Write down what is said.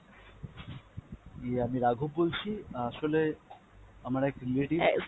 ইয়ে আমি রাঘব বলছি, অ্যাঁ আসলে আমার এক relative